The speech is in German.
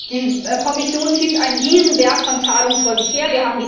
Die Kommission schiebt einen Riesenberg von Zahlungen vor sich her.